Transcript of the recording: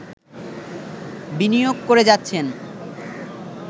বিনিয়োগ করে যাচ্ছেন